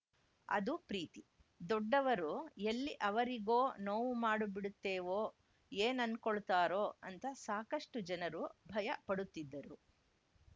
ಅದು ಪ್ರೀತಿ ದೊಡ್ಡವರು ಎಲ್ಲಿ ಅವರಿಗೋ ನೋವು ಮಾಡಿಬಿಡುತ್ತೇವೋ ಏನ್‌ ಅನ್ಕೊಳ್ತಾರೋ ಅಂತ ಸಾಕಷ್ಟುಜನರು ಭಯ ಪಡುತ್ತಿದ್ದರು